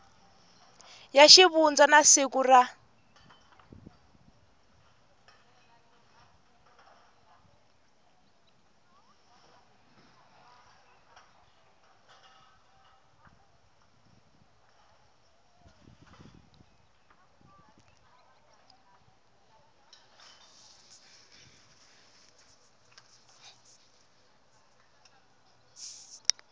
ya xivundza na siku ra